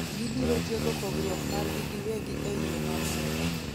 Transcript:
gibiro tieko pogruok margi giwegi ei yo ma muol